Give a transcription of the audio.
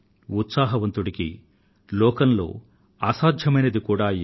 సానుకూలత ఉత్సాహాలతో నిండిన వ్యక్తికి ఏదీ అసంభవం కాదు